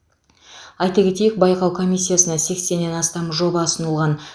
айта кетейік байқау комиссиясына сексеннен астам жоба ұсынылған